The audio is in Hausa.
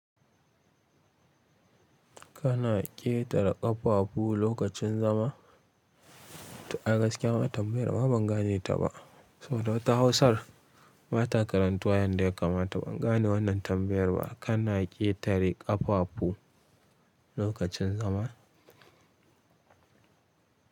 Kana ƙetare ƙafafu lokacin zama? A gaskiya ma tambayar ma ban gane ta ba. Saboda wata Hausar bata karantuwa yanda ya kamata ban gane wannan tambayar ba. Kana ƙetare ƙafafu lokacin zama?